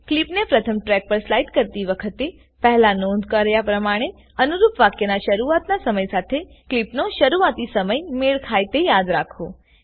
કલીપને પ્રથમ ટ્રેક પર સ્લાઈડ કરતી વખતે પહેલા નોંધ કર્યા પ્રમાણે અનુરૂપ વાક્યના શરૂઆતના સમય સાથે ક્લીપનો શરૂઆતી સમય મેળ ખાય તે યાદ રાખો